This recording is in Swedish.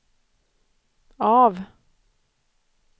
av